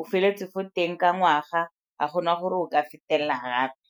o feleletseng fo teng ka ngwaga ga gona gore o ka fetelela gape.